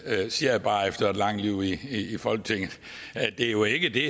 siger jeg bare efter et langt liv i folketinget er jo ikke det